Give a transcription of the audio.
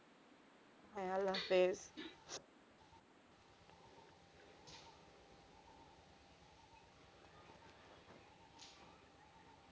হ্যাঁ আল্লাহ হাফিস।